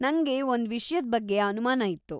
ನಂಗೆ ಒಂದ್ ವಿಷ್ಯದ್‌ ಬಗ್ಗೆ ಅನುಮಾನ ಇತ್ತು.